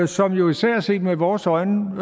som jo især set med vores øjne